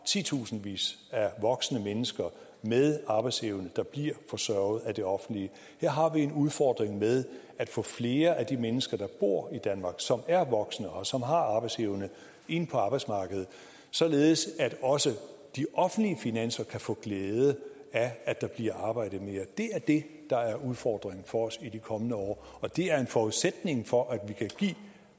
titusindvis af voksne mennesker med arbejdsevne der bliver forsørget af det offentlige her har vi en udfordring med at få flere af de mennesker der bor i danmark som er voksne og som har arbejdsevne ind på arbejdsmarkedet således at også de offentlige finanser kan få glæde af at der bliver arbejdet mere det er det der er udfordringen for os i de kommende år og det er en forudsætning for at vi kan give